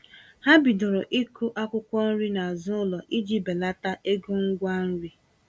Ha bidoro ịkụ akwụkwọ nri n'azụ ụlọ iji belata ego ngwa nri.